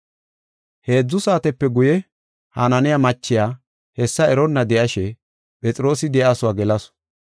Heedzu saatepe guye Hananiya machiya hessa eronna de7ashe Phexroosi de7iyasuwa gelasu.